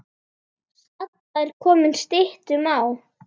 Stalla er komið styttum á.